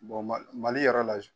Mali yɛrɛ la